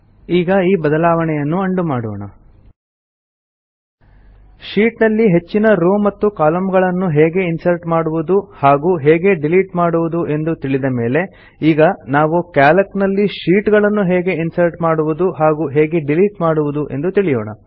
ಈಗ ಈ ಬದಲಾವಣೆಯನ್ನು ಉಂಡೋ ಮಾಡೋಣ ಶೀಟ್ ನಲ್ಲಿ ಹೆಚ್ಚಿನ ರೋವ್ ಮತ್ತು ಕಾಲಮ್ನ ಗಳನ್ನು ಹೇಗೆ ಇನ್ಸರ್ಟ್ ಮಾಡುವುದು ಹಾಗೂ ಹೇಗೆ ಡಿಲೀಟ್ ಮಾಡುವುದು ಎಂದು ತಿಳಿದ ಮೇಲೆ ಈಗ ನಾವು ಕ್ಯಾಲ್ಕ್ ನಲ್ಲಿ ಶೀಟ್ ಗಳನ್ನು ಹೇಗೆ ಇನ್ಸರ್ಟ್ ಮಾಡುವುದು ಹಾಗೂ ಹೇಗೆ ಡಿಲೀಟ್ ಮಾಡುವುದು ಎಂದು ತಿಳಿಯೋಣ